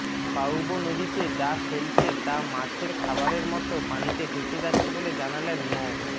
পাউবো নদীতে যা ফেলছে তা মাছের খাবারের মতো পানিতে ভেসে যাচ্ছে বলে জানালেন মো